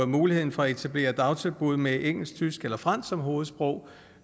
muligheden for at etablere dagtilbud med engelsk tysk eller fransk som hovedsprog